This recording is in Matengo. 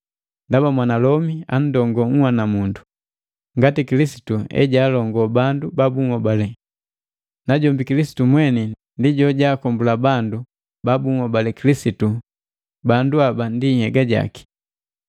Ndaba mwanalomi andongoo nhwanamundu, ngati Kilisitu ejalongoo bandu ba bunhobale, najombi Kilisitu mweni ndi jojaakombula bandu ba bunhobali Kilisitu bandu haba ndi nhyega jaki.